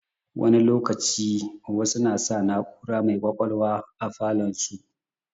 Wani lokaci, wasu na sa na'ura mai ƙwaƙwalwa a falon su.